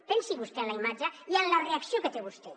pensi vostè en la imatge i en la reacció que té vostè